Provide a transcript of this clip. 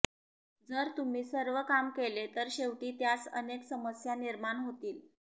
जर तुम्ही सर्व काम केले तर शेवटी त्यास अनेक समस्या निर्माण होतील